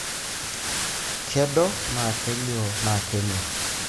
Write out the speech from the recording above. kedo, na kelio na kemee.